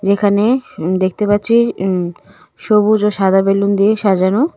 যেখানে উম দেখতে পাচ্ছি উম সবুজ ও সাদা বেলুন দিয়ে সাজানো .